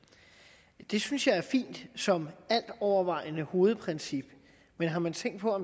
det synes jeg er fint som altovervejende hovedprincip men har man tænkt på at